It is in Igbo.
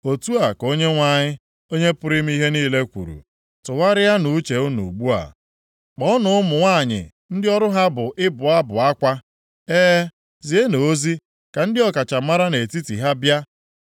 Otu a ka Onyenwe anyị, Onye pụrụ ime ihe niile kwuru, “Tụgharịanụ uche unu ugbu a. Kpọọnụ ụmụ nwanyị ndị ọrụ ha bụ ịbụ abụ akwa. E, zienụ ozi ka ndị ọkachamara nʼetiti ha bịa.